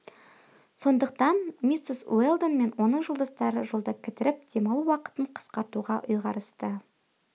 сондықтан миссис уэлдон мен оның жолдастары жолда кідіріп демалу уақытын қысқартуға ұйғарысты